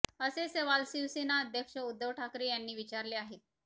असे सवाल शिवसेना अध्यक्ष उध्दव ठाकरे यांनी विचारले आहेत